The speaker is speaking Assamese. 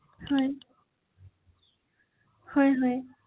সেইখিনি চাই সিদ্বান্ত এটা ল’ব৷